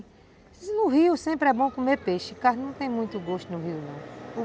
No rio sempre é bom comer peixe, carne não tem muito gosto no rio não.